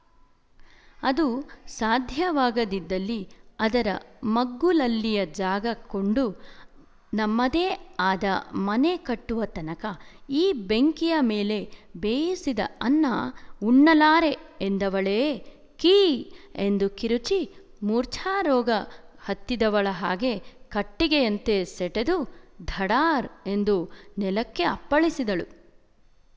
ಅದು ಸಾಧ್ಯವಾಗದಿದ್ದಲ್ಲಿ ಅದರ ಮಗ್ಗುಲಲ್ಲಿಯ ಜಾಗ ಕೊಂಡು ನಮ್ಮದೇ ಆದ ಮನೆ ಕಟ್ಟುವ ತನಕ ಈ ಬೆಂಕಿಯ ಮೇಲೆ ಬೇಯಿಸಿದ ಅನ್ನ ಉಣ್ಣಲಾರೇ ಎಂದವಳೇ ಕೀ ಎಂದು ಕಿರುಚಿ ಮೂರ್ಛಾರೋಗ ಹತ್ತಿದವಳ ಹಾಗೆ ಕಟ್ಟಿಗೆಯಂತೆ ಸೆಟೆದು ಧಡಾರ್ ಎಂದು ನೆಲಕ್ಕೆ ಅಪ್ಪಳಿಸಿದಳು